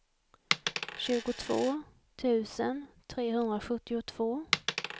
tjugotvå tusen trehundrasjuttiotvå